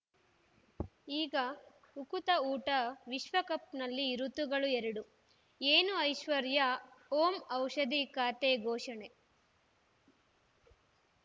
ಈಗ ಉಕುತ ಊಟ ವಿಶ್ವಕಪ್‌ನಲ್ಲಿ ಋತುಗಳು ಎರಡು ಏನು ಐಶ್ವರ್ಯಾ ಓಂ ಔಷಧಿ ಖಾತೆ ಘೋಷಣೆ